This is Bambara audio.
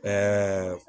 Ɛɛ